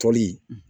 Fɔli